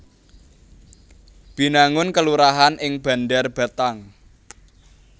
Binangun kelurahan ing Bandar Batang